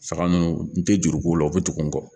Saga ninnu n tɛ juruko la u bɛ tugun